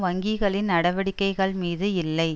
வங்கிகளின் நடவடிக்கைகள் மீது இல்லை